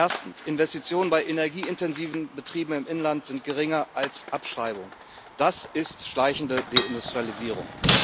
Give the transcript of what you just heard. Erstens Investitionen bei energieintensiven Betrieben im Inland sind geringer als Abschreibungen das ist schleichende Deindustrialisierung.